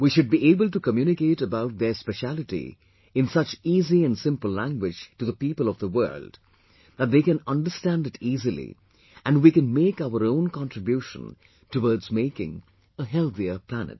We should be able to communicate about their speciality in such easy and simple language to the people of the world, that they can understand it easily and we can make our own contribution towardsmaking a healthier planet